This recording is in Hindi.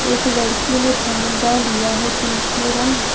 एक लड़की ने झंडा लिया है जिन में रंग--